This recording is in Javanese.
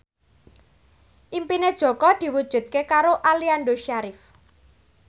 impine Jaka diwujudke karo Aliando Syarif